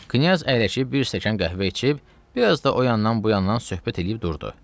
Knyaz əyləşib bir stəkan qəhvə içib, bir az da o yandan bu yandan söhbət eləyib durdu.